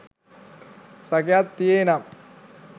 සැකයක් තියේ නම්